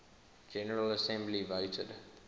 general assembly voted